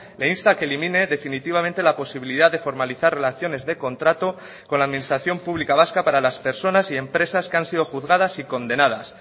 le insta a que elimine definitivamente la posibilidad de formalizar relaciones de contrato con la administración pública vasca para las personas y empresas que han sido juzgadas y condenadas